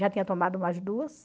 Já tinha tomado umas duas.